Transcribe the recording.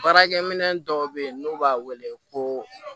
Baarakɛ minɛn dɔw bɛ yen n'u b'a wele ko